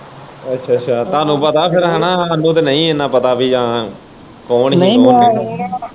ਅੱਛਾ ਅੱਛਾ ਤੁਹਾਨੂੰ ਪਤਾ ਫੇਰ ਹਨਾ ਸਾਨੂੰ ਤੇ ਨਹੀਂ ਇੰਨਾ ਪਤਾ ਬੀ ਹਾਂ ਕੌਣ ਹੀ ਉਹ ਨਹੀਂ ਮੈਂ।